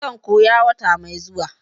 zan koya wata mai zuwa.